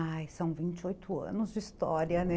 Ai, são vinte e oito anos de história, né?